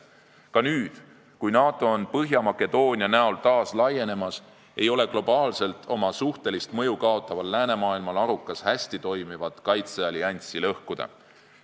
Ka nüüd, kui NATO on Põhja-Makedoonia liikmeks saades taas laienemas, ei ole globaalselt oma suhtelist mõju kaotaval läänemaailmal arukas hästi toimivat kaitseallianssi lõhkuda.